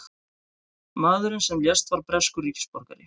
Maðurinn sem lést var breskur ríkisborgari